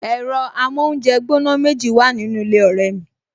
Ẹ̀rọ amóúnjẹgbóná méjì wà nínú ilé ọ̀rẹ́ mi